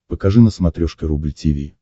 покажи на смотрешке рубль ти ви